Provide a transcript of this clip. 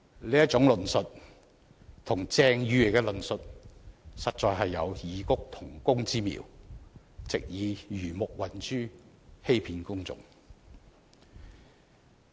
這種論述與鄭議員的論述實有異曲同工之妙，藉以魚目混珠、欺騙公眾。